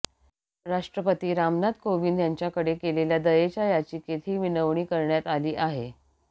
राष्ट्रपती रामनाथ कोविंद यांच्याकडे केलेल्या दयेच्या याचिकेत ही विनवणी करण्यात आली आहे